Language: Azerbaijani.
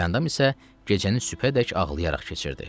Gülandam isə gecəni sübhədək ağlayaraq keçirdi.